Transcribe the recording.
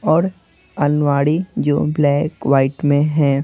और अन्वाड़ी जो ब्लैक वाइट में है।